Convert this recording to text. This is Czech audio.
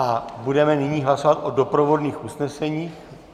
A budeme nyní hlasovat o doprovodných usneseních.